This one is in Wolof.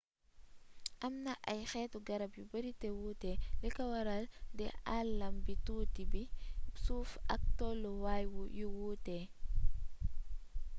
amna ay xétu garab yu beeri té wuté liko waral di aalam bu tuuti bi suuf ak tollu waay yu wuuté